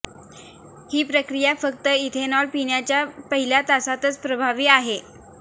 ही प्रक्रिया फक्त इथेनॉल पिण्याच्या पहिल्या तासातच प्रभावी आहे